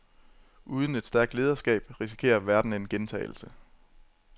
Uden et stærkt lederskab risikerer verden en gentagelse.